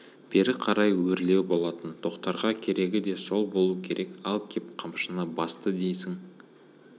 бері қарай өрлеу болатын тоқтарға керегі де сол болу керек ал кеп қамшыны басты дейсің